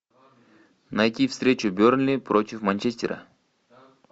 найти встречу бернли против манчестера